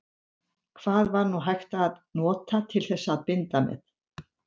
Hvað var nú hægt að nota til þess að binda með?